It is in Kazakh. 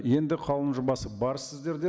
енді қаулының жобасы бар сіздерде